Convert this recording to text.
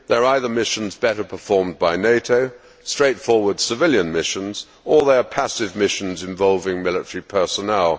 They are either missions better performed by NATO, straightforward civilian missions, or they are passive missions involving military personnel.